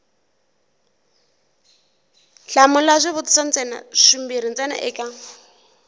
hlamula swivutiso swimbirhi ntsena eka